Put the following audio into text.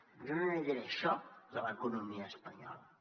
jo no li diré això de l’economia espanyola